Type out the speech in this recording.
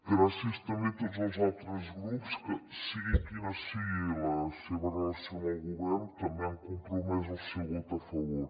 gràcies també a tots els altres grups que sigui quina sigui la seva relació amb el govern també han compromès el seu vot a favor